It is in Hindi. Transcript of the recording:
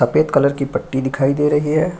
सफ़ेद कलर की पट्टी दिखाई दे रही है।